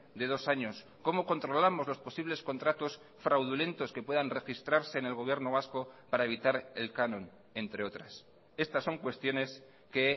de dos años cómo controlamos los posibles contratos fraudulentos que puedan registrarse en el gobierno vasco para evitar el canon entre otras estas son cuestiones que